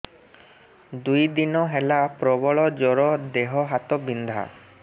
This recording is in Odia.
ଦୁଇ ଦିନ ହେଲା ପ୍ରବଳ ଜର ଦେହ ହାତ ବିନ୍ଧା